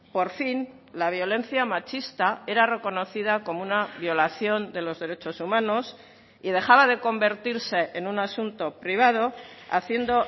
por fin la violencia machista era reconocida como una violación de los derechos humanos y dejaba de convertirse en un asunto privado haciendo